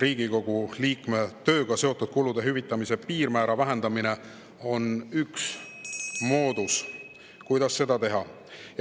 Riigikogu liikme tööga seotud kulude hüvitamise piirmäära vähendamine on üks moodus, kuidas seda teha.